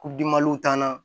U dimaliw t'an na